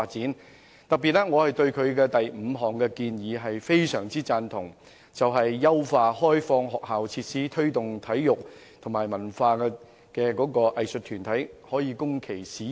我特別對議案提出的第五項建議非常贊同，即優化開放學校設施推動體育發展及供文化藝術團體使用。